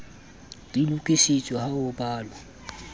di lokisitswe ha ho balwa